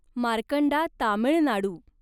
Markanda Tamil Nadu